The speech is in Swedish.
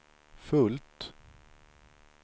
fullt